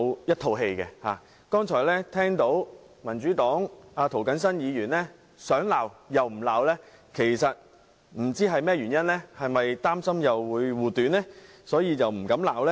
我剛才聽到民主黨涂謹申議員想罵又不罵，不知是甚麼原因，是否因為要護短，所以不敢罵呢？